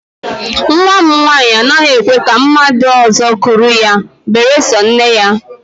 Nnwa m nwaanyị anaghị ekwe ka mmadụ ọzọ kuru ya beresọ nne ya